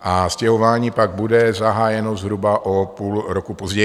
a stěhování pak bude zahájeno zhruba o půl roku později.